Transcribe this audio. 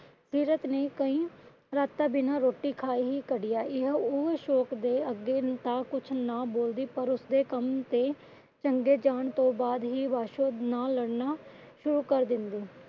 ਸੀਰਤ ਨੇ ਕਈ ਰਾਤਾਂ ਬਿਨਾ ਰੋਟੀ ਖਾਏ ਹੀ ਕੱਢੀਆਂ। ਇਹ ਉਹ ਅਸ਼ੋਕ ਦੇ ਅੱਗੇ ਤਾ ਕੁਛ ਨਾ ਬੋਲਦੀ ਪਰ ਉਸਦੇ ਕੰਮ ਤੇ ਚੰਗੇ ਜਾਨ ਤੋਂ ਬਾਅਦ ਹੀ ਬਸ਼ੋ ਨਾਲ ਲੜਨਾ ਸ਼ੁਰੂ ਕਰ ਦੇਂਦੀ।